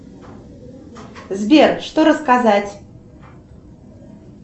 сбер что рассказать